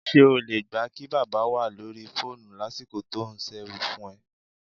S̩e o lè gbà kí bábà wà lórí fóònù lásìkò tó ń s̩erun fún e̩?